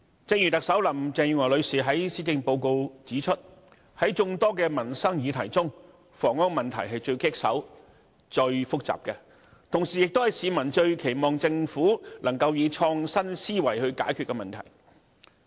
正如特首林鄭月娥女士在施政報告中指出，在眾多民生議題中，房屋問題是最棘手及最複雜的，同時亦是市民最期望政府能夠以創新思維解決的問題。